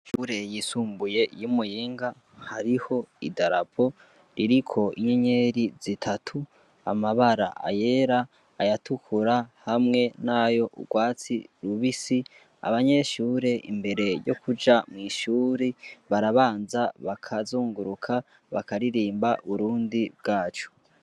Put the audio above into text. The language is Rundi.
Ishure yisumbuye iy'umuyinga hariho i darapo ririko inyenyeri zitatu amabara ayera ayatukura hamwe nayo urwatsi lubisi abanyeshure imbere yo kuja mw'ishuri barabanza bakazunguruka bakaririmba burundi bwacu.